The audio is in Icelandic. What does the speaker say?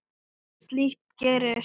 Slíkt gerist.